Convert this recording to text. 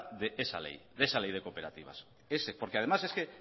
de esa ley porque además es que